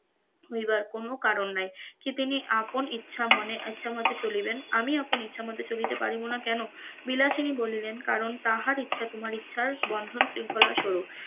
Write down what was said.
ইহার কোন কারণ নাই, যেদিনই আপন ইচ্ছা মনে ইচ্ছা মত চলিবেন আমি আমার ইচ্ছামত চলিতে পারিব না কেন? বিলাসিনী বলিলেন কারণ তাহার ইচ্ছা তোমার ইচ্ছার বন্ধন শৃঙ্খলা স্বরুপ,